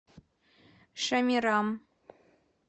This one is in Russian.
шамирам